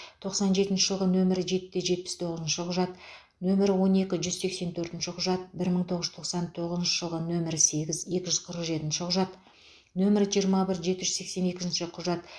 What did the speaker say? тоқсан жетінші жылғы нөмірі жеті жетпіс тоғызыншы құжат нөмірі он екі жүз сексен төртінші құжат бір мың тоғыз жүз тоқсан тоғызыншы жылы нөмірі сегіз екі жүз қырық жетінші құжат нөмірі жирыма бір жеті жүз сексен екінші құжат